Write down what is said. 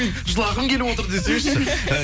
жылағым келіп отыр десеңізші